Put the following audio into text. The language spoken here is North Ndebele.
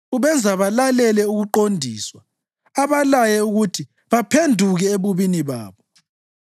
Ubenza balalele ukuqondiswa abalaye ukuthi baphenduke ebubini babo.